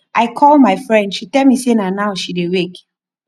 i call my friend she tell me say na now she dey wake